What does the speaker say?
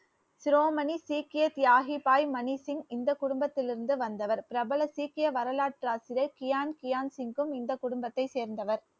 சிரோமணி சீக்கிய தியாகி பாய் மணிசிங்க் இந்த குடும்பத்தில் இருந்து வந்தவர் பிரபல சீக்கிய வரலாற்று ஆசிரியர் கியான் கியான் சிங்கும் இந்த குடும்பத்த சேர்ந்தவர்